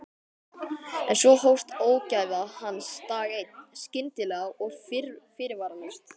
En svo hófst ógæfa hans dag einn, skyndilega og fyrirvaralaust.